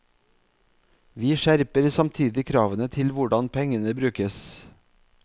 Vi skjerper samtidig kravene til hvordan pengene brukes.